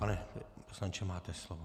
Pane poslanče, máte slovo.